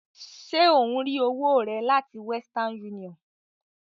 Ṣe ò ń rí owó rẹ láti western union?